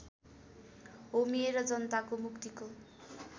होमिएर जनताको मुक्तिको